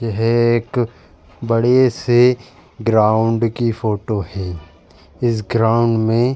यह एक बड़े से ग्राउंड की फोटो है। इस ग्राउंड में --